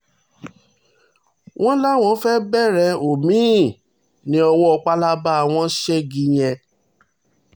wọ́n láwọn fẹ́ẹ́ bẹ̀rẹ̀ omi-ín ní owó palaba àwọn ségi yẹn